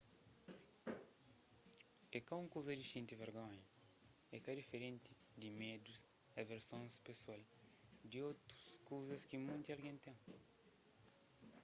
é ka un kuza di xinti vergonha é ka diferenti di medus y aversons pesoal di otus kuzas ki munti algen ten